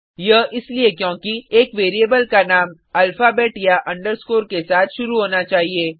यह इसलिए क्योंकि एक वेरिएबल का नाम ऐल्फबेट या अंडरस्कोर के साथ शुरु होना चाहिए